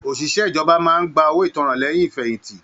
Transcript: Oṣiṣẹ ìjọba máa n gbà owó ìtanràn lẹyìn ifẹ̀yinti